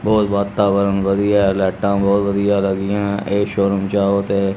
ਬਹੁਤ ਵਾਤਾਵਰਨ ਵਧੀਆ ਲਾਈਟਾਂ ਬਹੁਤ ਵਧੀਆ ਲੱਗੀਆਂ ਇਹ ਸ਼ੋਰੂਮ ਜਾਓ ਤੇ--